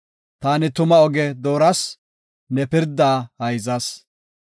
Taani tuma oge dooras; ne pirdaa hayzas.